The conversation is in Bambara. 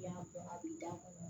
I y'a bɔ a bɛ da